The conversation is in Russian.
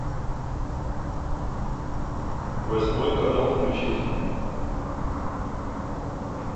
восьмой канал включить